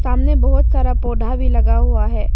सामने बहुत सारा पौधा भी लगा हुआ है।